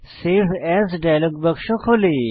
save as dialog বাক্স খোলে